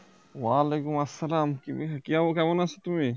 অলাইকুম আসসালাম কি~ কি হাল কেমন আছো তুমি